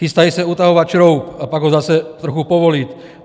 Chystají se utahovat šroub, a pak ho zase trochu povolit.